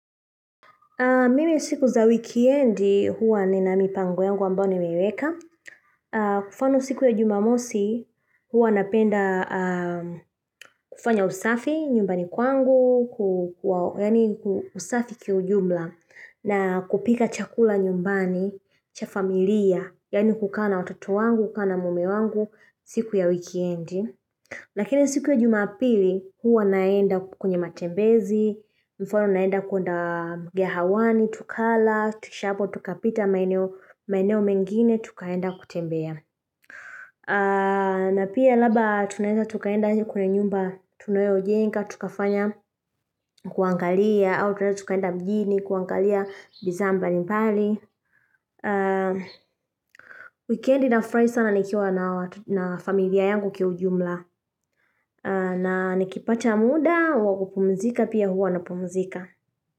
Mimi siku za wiki edi huwa ni na mipango yangu ambayo nimeiweka. Kwa mfano siku ya jumamosi huwa napenda kufanya usafi nyumbani kwangu, usafi kiujumla na kupika chakula nyumbani cha familia, yaani kukaa na watoto wangu, kukaa na mume wangu siku ya wiki edi. Lakini siku ya juma pili, huwa naenda kwenye matembezi, mfano naenda kwenda mgahawani, tukala, tukisha hapo, tukapita maeneo mengine, tukaenda kutembea. Na pia labda tunaenza tukaenda kwenye nyumba tunayo jenga, tukafanya kuangalia, au tena tukaenda mjini, kuangalia bizaa mbali mbali. Wikedi nafurahi sana nikiwa na familia yangu kiujumla na nikipacha muda wakupumzika pia huwa napumzika.